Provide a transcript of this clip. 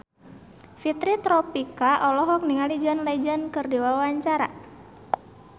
Fitri Tropika olohok ningali John Legend keur diwawancara